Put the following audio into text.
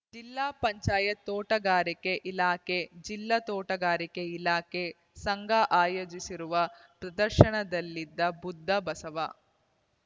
ಜಿಲ್ಲಾ ಪಂಚಾಯತ್ ತೋಟಗಾರಿಕೆ ಇಲಾಖೆ ಜಿಲ್ಲಾ ತೋಟಗಾರಿಕೆ ಇಲಾಖೆ ಸಂಘ ಆಯೋಜಿಸಿರುವ ಪ್ರದರ್ಶನದಲ್ಲಿ ಬುದ್ಧ ಬಸವ